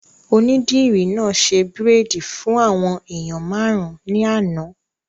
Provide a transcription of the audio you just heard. Onídìrí náà ṣe bírèèdì fún àwọn èèyàn máàrún ní àná